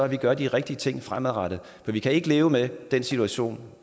vi gøre de rigtige ting fremadrettet for vi kan ikke leve med den situation